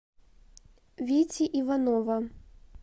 вити иванова